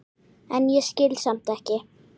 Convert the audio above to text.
en ég skil samt ekki.